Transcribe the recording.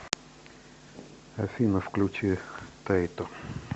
афина включи тайто